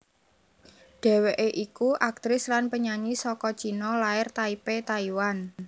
Dheweké iku aktris lan penyanyi saka China lair Taipei Taiwan